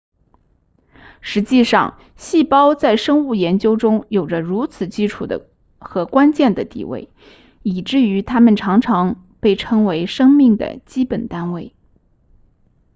实际上细胞在生物研究中有着如此基础和关键的地位以至于它们常被称为生命的基本单位